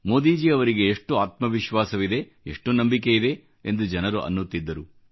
ಮೋದಿಜಿ ಅವರಿಗೆ ಎಷ್ಟು ಆತ್ಮ ವಿಶ್ವಾಸವಿದೆ ಎಷ್ಟು ನಂಬಿಕೆ ಇದೆ ಎಂದು ಜನರು ಅನ್ನುತ್ತಿದ್ದರು